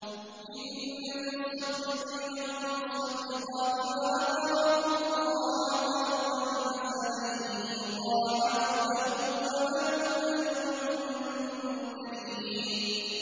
إِنَّ الْمُصَّدِّقِينَ وَالْمُصَّدِّقَاتِ وَأَقْرَضُوا اللَّهَ قَرْضًا حَسَنًا يُضَاعَفُ لَهُمْ وَلَهُمْ أَجْرٌ كَرِيمٌ